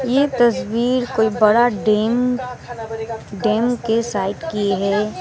ये तस्वीर कोई बड़ा डैम डैम के साइड की है।